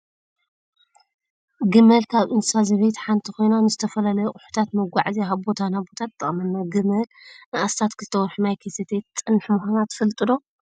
ግመል ካብ እንስሳ ዘቤት ሓንቲ ኮይና፣ ንዝተፈላለዩ ኣቁሑታት መጓዓዝያ ካብ ቦታ ናብ ቦታ ትጠቅመና። ግመል ንኣስታት ክልተ ወርሒ ማይ ከይሰተየት ትፀንሕ ምኳና ትፈልጡ ዶ?